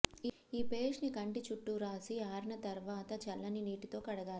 ఈ పేస్ట్ ని కంటి చుట్టూ రాసి ఆరిన తర్వాత చల్లని నీటితో కడగాలి